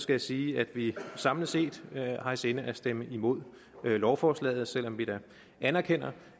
jeg sige at vi samlet set har i sinde at stemme imod lovforslaget selv om vi da anerkender